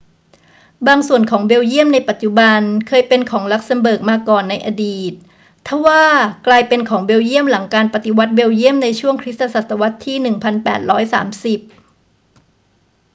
บางส่วนของเบลเยียมในปัจจุบันเคยเป็นของลักเซ็มเบิร์กมาก่อนในอดีต ทว่ากลายเป็นของเบลเยียมหลังการปฏิวัติเบลเยี่ยมในช่วงคริสตศตวรรษที่ 1830